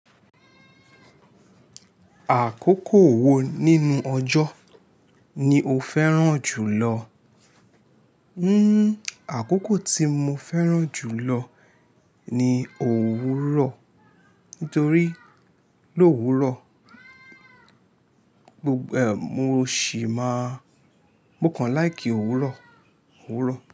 Àkókò wo nínú ọjọ́ ni o fẹ́ràn jùlọ? Hmm àkókò tí mo fẹ́ràn jù lọ ni òwúrọ̀. Nítorí lówúrọ̀, mo sì máa mo kàn like òwúrọ̀, òwúrọ̀.